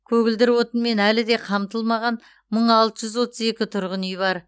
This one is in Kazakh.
көгілдір отынмен әлі де қамтылмаған мың алты жүз отыз екі тұрғын үй бар